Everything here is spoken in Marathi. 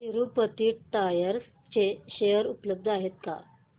तिरूपती टायर्स चे शेअर उपलब्ध आहेत का